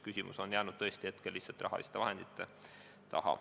Küsimus on jäänud tõesti hetkel lihtsalt rahaliste vahendite puuduse taha.